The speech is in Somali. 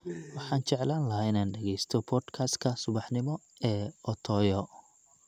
Waxaan jeclaan lahaa inaan dhageysto podcast-ka subaxnimo ee otoyo